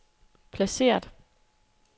placeret